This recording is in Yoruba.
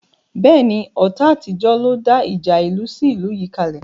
Bẹ́ẹ̀ni, ọ̀tá àtijọ́ ló dá ìjà ìlú sí ìlú yìí kale